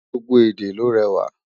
gbogbo èdè ló réwà